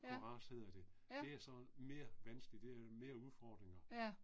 Ja, ja. Ja